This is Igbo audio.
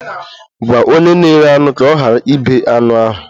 Gwa onye na-ere anụ ka ọ ghara ịbe anụ ahụ!